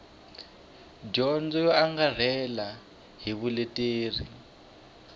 dyondzo yo angarhela ni vuleteri